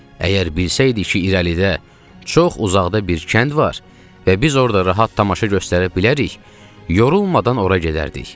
Əgər bilsəydik ki, irəlidə çox uzaqda bir kənd var və biz orda rahat tamaşa göstərə bilərik, yorulmadan ora gedərdik.